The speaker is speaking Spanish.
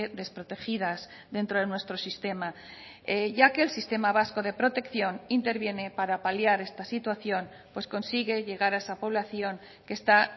desprotegidas dentro de nuestro sistema ya que el sistema vasco de protección interviene para paliar esta situación pues consigue llegar a esa población que está